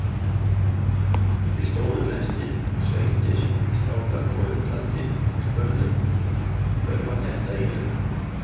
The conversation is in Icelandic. Við stóðum eftir, sveittir strákar og undrandi og spurðum: Hver var þetta eiginlega?